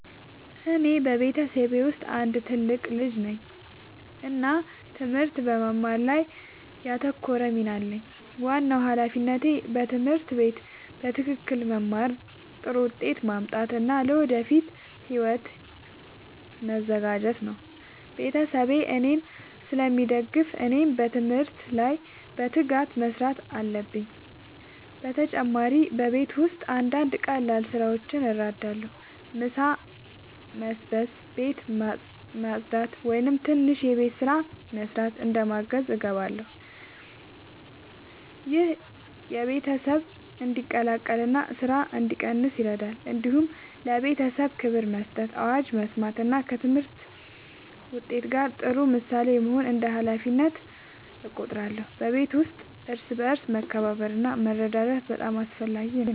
እኔ በቤተሰቤ ውስጥ አንድ ትልቅ ልጅ ነኝ እና ትምህርት በመማር ላይ ያተኮረ ሚና አለኝ። ዋናው ሃላፊነቴ በትምህርት ቤት በትክክል መማር፣ ጥሩ ውጤት ማምጣት እና ለወደፊት ሕይወቴ መዘጋጀት ነው። ቤተሰቤ እኔን ስለሚደግፉ እኔም በትምህርት ላይ በትጋት መስራት አለብኝ። በተጨማሪ በቤት ውስጥ አንዳንድ ቀላል ስራዎችን እረዳለሁ። ምሳ መስበስ፣ ቤት ማጽዳት ወይም ትንሽ የቤት ስራ መስራት እንደ ማገዝ እገባለሁ። ይህ ቤተሰብ እንዲቀላቀል እና ስራ እንዲቀንስ ይረዳል። እንዲሁም ለቤተሰቤ ክብር መስጠት፣ አዋጅ መስማት እና ከትምህርት ውጤት ጋር ጥሩ ምሳሌ መሆን እንደ ሃላፊነቴ እቆጥራለሁ። በቤተሰብ ውስጥ እርስ በርስ መከባበር እና መረዳዳት በጣም አስፈላጊ ነው።